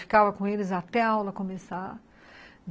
Ficava com eles até a aula começar.